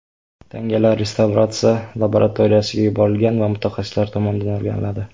Tangalar restavratsiya laboratoriyasiga yuborilgan va mutaxassislar tomonidan o‘rganiladi.